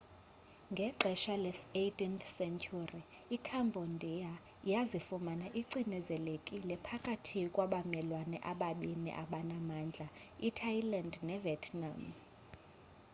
ngexesha le-18th sentyhuri icambodia yazifumana icinezelekile phakathi kwabamelwane ababini abanamandla ithailand nevietnam